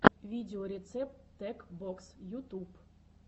видеорецепт тек бокс ютуб